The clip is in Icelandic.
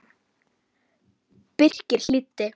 Birkir hlýddi.